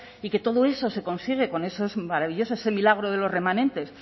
y que todo eso se consigue con esos maravillosos ese milagro de los remanentes